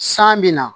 San bɛ na